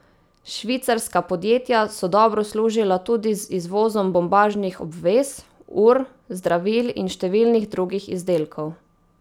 Švicarska podjetja so dobro služila tudi z izvozom bombažnih obvez, ur, zdravil in številnih drugih izdelkov.